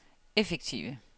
effektive